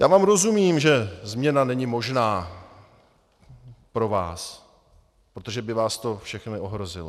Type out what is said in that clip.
Já vám rozumím, že změna není možná pro vás, protože by vás to všechny ohrozilo.